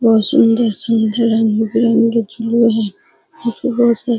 बहुत सुन्दर-सुन्दर रंग-बिरंगे झूले है यहाँ पे बहुत से --